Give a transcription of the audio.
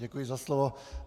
Děkuji za slovo.